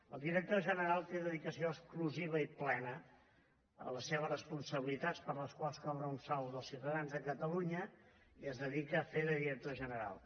el director general té dedicació exclusiva i plena a les seves responsabilitats per les quals cobra un sou dels ciutadans de catalunya i es dedica a fer de director general